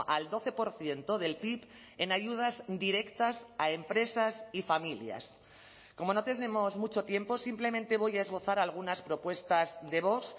al doce por ciento del pib en ayudas directas a empresas y familias como no tenemos mucho tiempo simplemente voy a esbozar algunas propuestas de vox